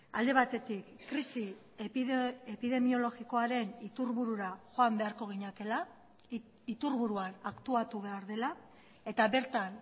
alde batetik krisi epidemiologikoaren iturburura joan beharko ginatekeela iturburuan aktuatu behar dela eta bertan